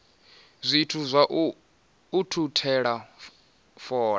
zwithu zwa u ukhuthela fola